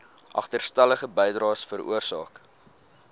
agterstallige bydraes veroorsaak